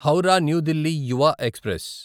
Howrah New Delhi Yuva express